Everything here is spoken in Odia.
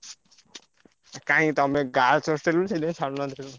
କାହିଁକି ତମେ girls hostel ରେ ଥିଲେ ଛାଡୁନାହାନ୍ତି।